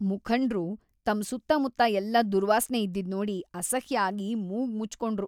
ಮುಖಂಡ್ರು ತಮ್ಮ್ ಸುತ್ತಮುತ್ತ ಎಲ್ಲ ದುರ್ವಾಸ್ನೆ ಇದ್ದಿದ್‌ ನೋಡಿ ಅಸಹ್ಯ ಆಗಿ ಮೂಗ್ ಮುಚ್ಚ್‌ಕೊಂಡ್ರು.